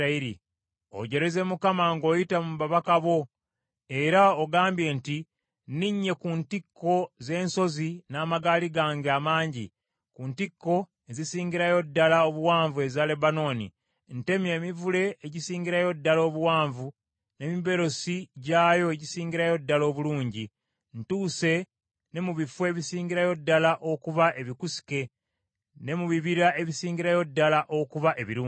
Ojereze Mukama ng’oyita mu babaka bo. Era ogambye nti, “Nninye ku ntikko z’ensozi n’amagaali gange amangi, ku ntikko ezisingirayo ddala obuwanvu eza Lebanooni. Ntemye emivule egisingirayo ddala obuwanvu n’emiberosi gyayo egisingirayo ddala obulungi. Ntuuse ne mu bifo ebisingirayo ddala okuba ebikusike ne mu bibira ebisingirayo ddala okuba ebirungi.